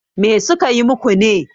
me suka yi muku ne?